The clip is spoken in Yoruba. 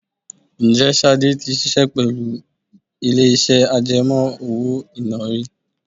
Ǹjẹ́ Ṣadé tí ṣiṣẹ́ pẹ̀lú ilé iṣẹ́ àjẹmó-owó-ìná iná rí?